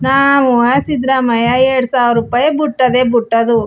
ನಾವುವೇ ಸಿದ್ರಾಮಯ್ಯ ಎರಡ್ ಸಾವಿರೂಪಾಯ್ ಬುಟ್ಟದೆ ಬುಟ್ಟದು .